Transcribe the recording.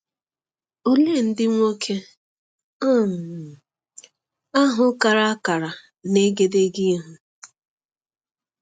Ole ndị nwoke um ahụ kara akara n’egedege ihu?